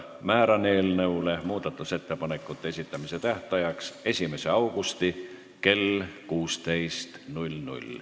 Määran muudatusettepanekute esitamise tähtajaks 1. augusti kell 16.